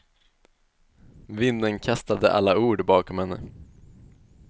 Vinden kastade alla ord bakom henne.